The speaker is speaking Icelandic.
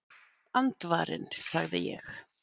Andvarinn sagði ég.